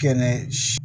Kɛnɛ